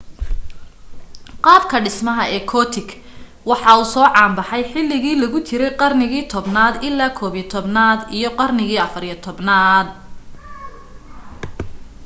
qaabka dhismaha ee gothic waxaa uu soo caan bahay xiligi lagu jirey qarnigi 10 naad ilaa 11 naad iyo qarnigi 14 naad